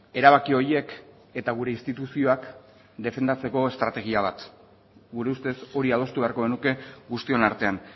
erabaki horiek eta gure instituzioak defendatzeko estrategia bat gure ustez hori adostu beharko genuke guztion artean